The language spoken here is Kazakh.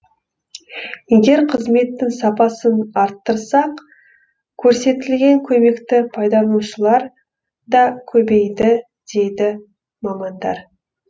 егер қызметтің сапасын арттырсақ көрсетілген көмекті пайдаланушылар да көбейеді дейді мамандар